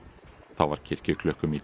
þá var kirkjuklukkum í